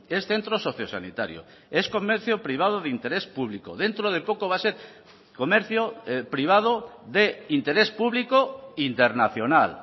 es centro sociosanitario es comercio privado de interés público dentro de poco va a ser comercio privado de interés público internacional